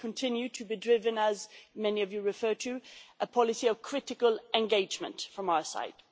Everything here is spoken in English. They continue to be driven, as many of you referred to, a policy of critical engagement from our side.